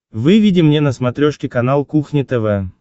выведи мне на смотрешке канал кухня тв